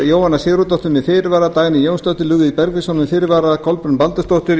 jóhanna sigurðardóttir með fyrirvara dagný jónsdóttir lúðvík bergvinsson með fyrirvara kolbrún baldursdóttir